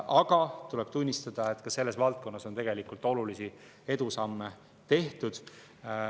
Aga tuleb tunnistada, et ka selles valdkonnas on olulisi edusamme tehtud.